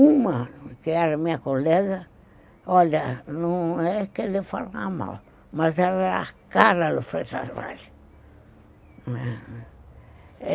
Uma, que era minha colega, olha, não é que ele falava mal, mas era a cara do Freitas Vales mesmo.